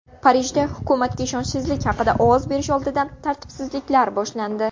Parijda hukumatga ishonchsizlik haqida ovoz berish oldidan tartibsizliklar boshlandi.